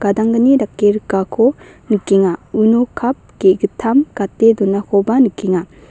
gadanggni dake rikako nikenga uno kap ge·gittam gate donakoba nikenga.